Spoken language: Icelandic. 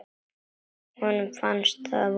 Honum fannst það vont.